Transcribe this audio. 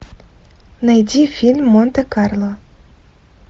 найди фильм монте карло